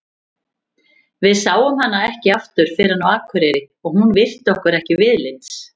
Við sáum hana ekki aftur fyrr en á Akureyri og hún virti okkur ekki viðlits.